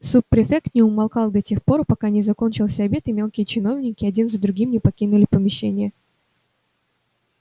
суб-префект не умолкал до тех пор пока не закончился обед и мелкие чиновники один за другим не покинули помещение